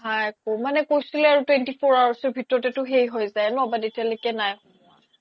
নাই আহা একো মানে কৈছিলে আৰু twenty four hours ভিতৰতেতো সেই যাই ন but এতিয়া লৈকে নাই সোমোৱা